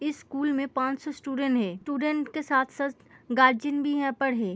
इस स्कूल में पाँच सौ स्टूडेंट है। स्टूडेंट के साथ-साथ गार्जियन भी यहाँ पर है।